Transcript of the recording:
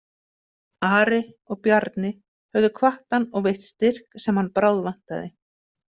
Ari og Bjarni höfðu hvatt hann og veitt styrk sem hann bráðvantaði.